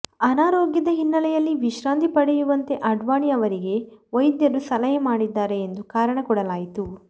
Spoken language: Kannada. ಅನಾರೋಗ್ಯದ ಹಿನ್ನೆಲೆಯಲ್ಲಿ ವಿಶ್ರಾಂತಿ ಪಡೆಯುವಂತೆ ಅಡ್ವಾಣಿ ಅವರಿಗೆ ವೈದ್ಯರು ಸಲಹೆ ಮಾಡಿದ್ದಾರೆ ಎಂದು ಕಾರಣ ಕೊಡಲಾಯಿತು